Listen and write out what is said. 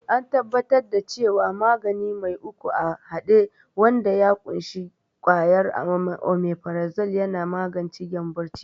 an tabbatar da cewa magani mai uku a hade wanda ya ƙunshi kwayar omifrazol yana magance gyambon ciki